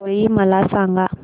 होळी मला सांगा